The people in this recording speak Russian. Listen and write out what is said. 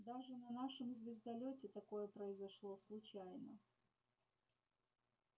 даже на нашем звездолёте такое произошло случайно